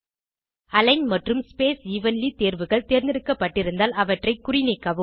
align மற்றும் space evenly தேர்வுகள் தேர்ந்தெடுக்கப்பட்டிருந்தால் அவற்றை குறிநீக்கவும்